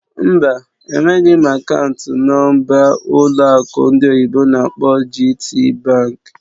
Mba, enweghị m akaụntụ nọ̀mbà ụlọ akụ ndị oyibo n'akpọ "GTbank"